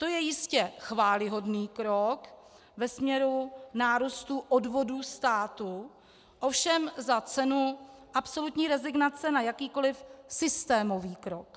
To je jistě chvályhodný krok ve směru nárůstu odvodů státu, ovšem za cenu absolutní rezignace na jakýkoliv systémový krok.